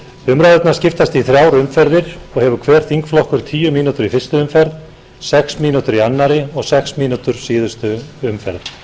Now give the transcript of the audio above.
umræðurnar skiptast í þrjár umferðir og hefur hver þingflokkur tíu mínútur í fyrstu umferð sex mínútur í annarri og sex mínútur í síðustu umferð